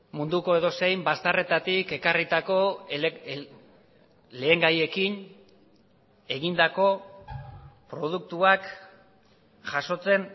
munduko edozein bazterretatik ekarritako lehengaiekin egindako produktuak jasotzen